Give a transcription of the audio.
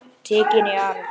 Tekin í arf.